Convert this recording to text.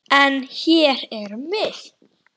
En. hér erum við.